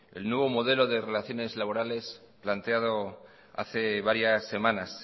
el nuevo modelo de relaciones laborales planteado hace varias semanas